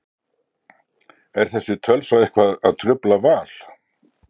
Er þessi tölfræði eitthvað að trufla Val?